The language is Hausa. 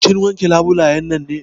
Kin wanke labulayen nan ne?